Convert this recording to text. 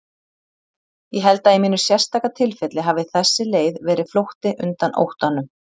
Ég held að í mínu sérstaka tilfelli hafi þessi leið verið flótti undan óttanum.